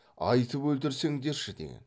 айтып өлтірсеңдерші деген